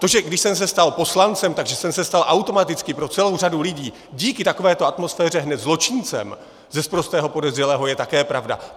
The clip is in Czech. To, že když jsem se stal poslancem, tak jsem se stal automaticky pro celou řadu lidí díky takovéto atmosféře hned zločincem ze sprostého podezřelého, je také pravda.